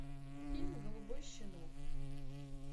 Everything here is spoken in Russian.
фильм голубой щенок